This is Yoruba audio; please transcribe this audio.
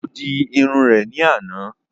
Ó di Irun rè ní àná